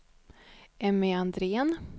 Emmy Andrén